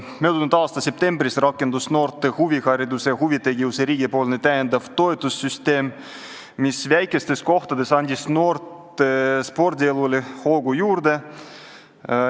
Möödunud aasta septembris rakendus noorte huvihariduse ja huvitegevuse riigipoolne täiendav toetussüsteem, mis andis väikestes kohtades noorte spordielule hoogu juurde.